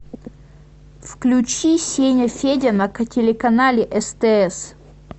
включи сеняфедя на телеканале стс